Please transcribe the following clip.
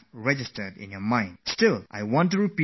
But I want to repeat this for all fellow citizens as well